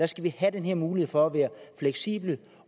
skal have den her mulighed for at være fleksible